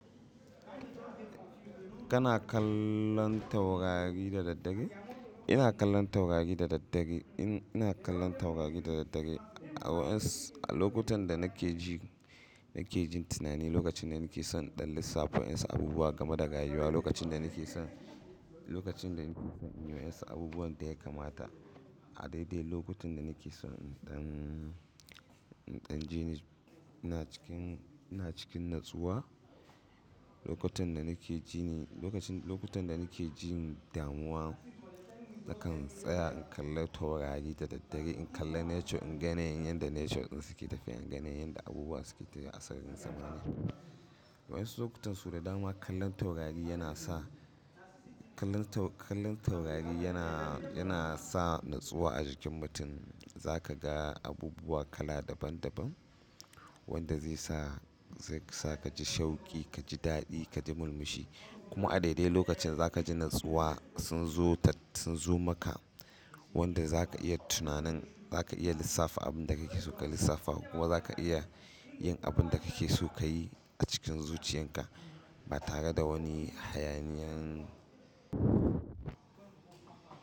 Kana kallon taurari da daddare? Ina kallon taurari da daddare. Ina kallon taurari da daddare a wa'ins-- a lokutan da nake ji, nake jin tunani, lokacin da nake son in ɗan lissafa wa 'yan su abubuwa game da rayuwa, lokacin da nake son, lokacin da nake son in yi wa 'yan su abubuwan da ya kamata. A daidai lokutan da nake son in ɗan, in ɗan ji ni ina cikin, ina cikin natsuwa, lokutan da nake ji ni, lokacin, lokutan da nake jin damuwa nakan tsaya in kalla taurari da daddare. In kalla nature, in ga yanayin yanda nature ɗin su ke tafiya, in ganen yanda abubuwa suke ta a sararin samaniya. Wa'insu lokutan su da dama kallon taurari yana sa, kallon tau-- kallon taurari yana, yana sa natsuwa a jikin mutum. Za ka ga abubuwa kala daban daban wanda zai sa, zai sa ka ji shauki, ka ji daɗi, ka ji murmushi. Kuma a daidai lokacin da za ka ji natsuwa sun zo ta, sun zo maka wanda za ka iya tunannin, za ka iya lissafa abin da kake so ka lissafa ko ma za ka iya yin abin da kake so ka yi a cikin zuciyan ka ba tare da wani hayaniyan.